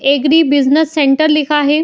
Agree business centre लिखा है।